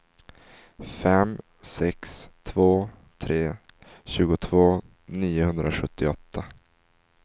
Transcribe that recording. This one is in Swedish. fem sex två tre tjugotvå niohundrasjuttioåtta